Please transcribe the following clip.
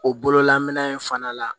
O bololaminɛn in fana la